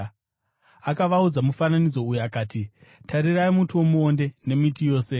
Akavaudza mufananidzo uyu akati, “Tarirai muti womuonde nemiti yose.